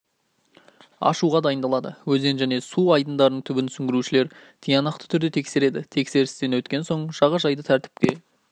ашуға дайындалады өзен және су айдындарының түбін сүңгуіршілер тиянақты түрде тексереді тексерістен соң жағажайды тәртіпке